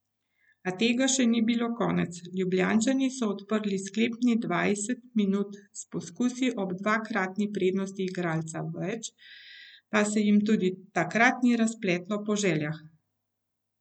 A tega še ni bilo konec, Ljubljančani so odprli sklepnih dvajset minut s poskusi ob dvakratni prednosti igralca več, pa se jim tudi takrat ni razpletlo po željah.